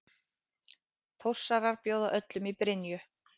Þórsarar bjóða öllum í Brynju!